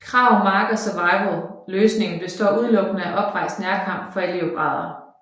Krav Maga Survival løsningen består udelukkende af oprejst nærkamp for elevgrader